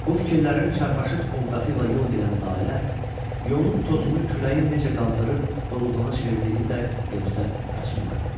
Bu fikirlərin çarpaşıq ovqatı ilə yol gedən Lalə, yolun tozunu küləyin necə qaldırıb burulğana çevrildiyini də gözdən qaçırmadı.